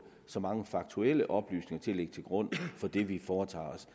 så mange faktuelle oplysninger at lægge til grund for det vi foretager os